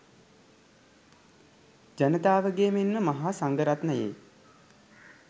ජනතාවගේ මෙන්ම මහා සංඝරත්නයේ